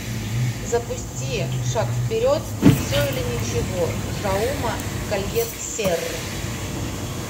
запусти шаг вперед все или ничего жауме кольет серры